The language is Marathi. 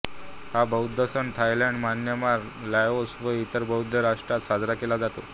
हा बौद्ध सण थायलंड म्यानमार लाओस व इतर बौद्ध राष्ट्रांत साजरा केला जातो